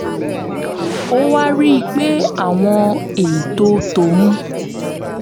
ó wá rí i pé àwọn ètò tóun